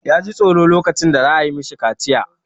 Ya ji tsoro lokacin da za a yi ma shi kaciya.